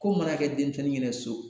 Ko mana kɛ denmisɛnnin ɲɛna so